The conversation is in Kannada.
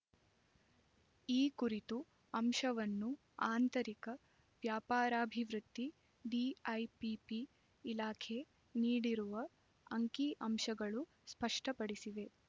ಈ ಕುರಿತ ಅಂಶವನ್ನು ಆಂತರಿಕ ವ್ಯಾಪಾರಾಭಿವೃದ್ಧಿ ಡಿಐಪಿಪಿ ಇಲಾಖೆ ನೀಡಿರುವ ಅಂಕಿಅಂಶಗಳು ಸ್ಪಷ್ಟಪಡಿಸಿವೆ